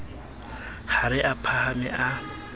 ha re a phahame a